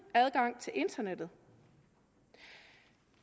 adgang til internettet